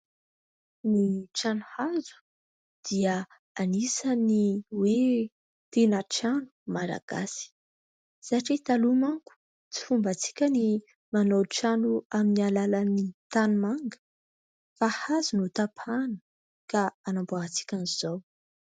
Ny trano hazo dia anisan'ny hoe tena trano Malagasy satria taloha manko tsy fombatsika ny manao trano amin'ny alalan'ny tanimanga fa hazo no tapahina ka anamboarantsika an'izao.